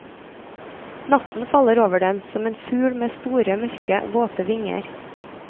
Natten faller over dem som en fugl med store, mørke, våte vinger.